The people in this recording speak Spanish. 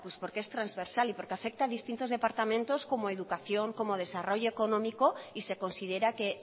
porque es transversal y porque afecta a distintos departamentos como a educación como a desarrollo económico y se considera que